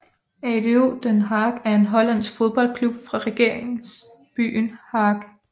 ADO Den Haag er en hollandsk fodboldklub fra regeringsbyen Haag